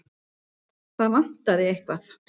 Það vantaði eitthvað.